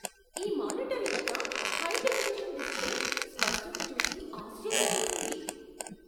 ఈ మానిటర్ యొక్క high definition display స్పష్టత చూసి ఆశ్చర్యం వేసింది.